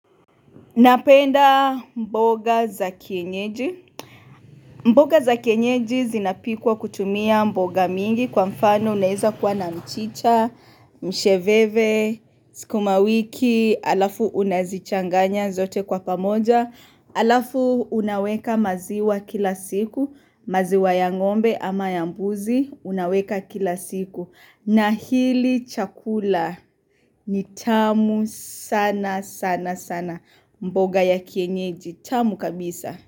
Napenda mboga za kienyeji. Mboga za kienyeji zinapikwa kutumia mboga mingi kwa mfano unaweza kwa na mchicha, msheveve, sukumawiki, alafu unazichanganya zote kwa pamoja. Alafu unaweka maziwa kila siku, maziwa ya ngombe ama ya mbuzi, unaweka kila siku. Na hili chakula ni tamu sana sana sana mboga ya kienyeji. Tamu kabisa.